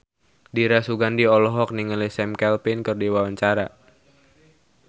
Dira Sugandi olohok ningali Sam Claflin keur diwawancara